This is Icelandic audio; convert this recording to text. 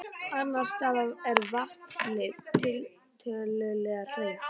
Annars staðar er vatnið tiltölulega hreint.